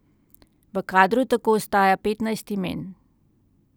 V kadru tako ostaja petnajst imen.